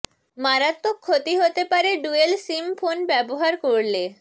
মারাত্মক ক্ষতি হতে পারে ডুয়েল সিম ফোন ব্যবহার করলে